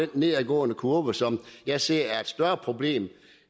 den nedadgående kurve som jeg ser er et større problem